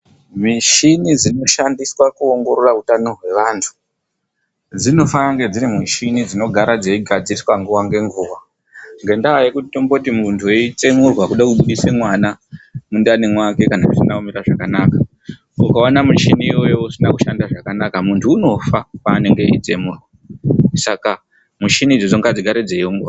Michini dzinoshandiswa kuongorora utano dzevantu dzinofanira kunge dziri michini dzinogara dzeigadziriswa nguwa ngenguwa, ngendaa yekuti tomboti munhtu eitsemurwa kuda kubudisa mwana mundani mwake kana zvisina kumira zvakanaka ukaona muchini iwoyo usina kushandiswa zvakanaka muntu unofa paanenge eitsemurwa .Saka michini idzodzo ngadzigare dzeiongororwa.